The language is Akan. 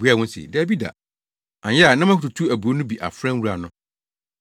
“Obuaa wɔn se, ‘Dabi da!’ Anyɛ a na moatutu aburow no bi afra nwura no.